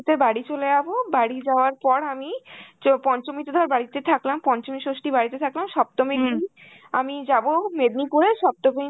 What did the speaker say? তে বাড়ি চলে যাব, বাড়ি যাওয়ার পর আমি চ~ পঞ্চমীতে ধর বাড়িতে থাকলাম, পঞ্চমী ষষ্ঠী বাড়িতে থাকলাম, সপ্তমীর দিন আমি যাব মেদিনীপুরে সপ্তমীর